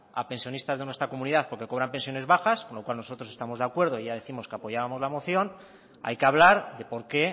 a pensionistas de nuestras comunidad porque cobran pensiones bajas con lo cual nosotros estamos de acuerdo ya décimos que apoyábamos la moción hay que hablar de por qué